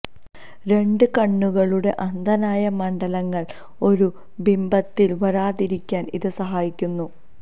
രണ്ടു കണ്ണുകളുടെ അന്ധനായ മണ്ഡലങ്ങൾ ഒരു ബിംബത്തിൽ വരാതിരിക്കാൻ ഇത് സഹായിക്കുന്നു